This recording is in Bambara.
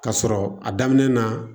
K'a sɔrɔ a daminɛ na